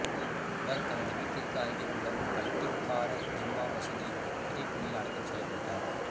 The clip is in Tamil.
இவர் தனது வீட்டிற்கு அருகிலுள்ள பட்டிக்காரா ஜும்மா மசூதியின் புதைகுழியில் அடக்கம் செய்யப்பட்டார்